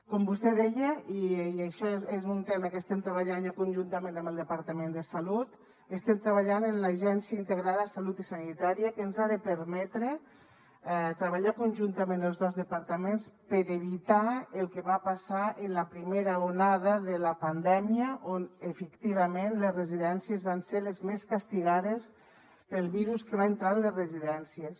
com vostè deia i això és un tema que estem treballant conjuntament amb el departament de salut estem treballant en l’agència integrada de salut i sanitària que ens ha de permetre treballar conjuntament els dos departaments per evitar el que va passar en la primera onada de la pandèmia en què efectivament les residències van ser les més castigades pel virus que va entrar en les residències